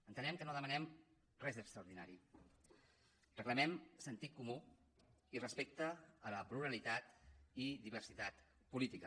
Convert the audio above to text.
entenem que no demanem res d’extraordinari reclamem sentit comú i respecte a la pluralitat i diversitat política